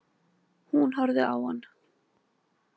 Hún horfði á hann.